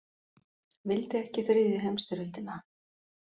Vildi ekki þriðju heimsstyrjöldina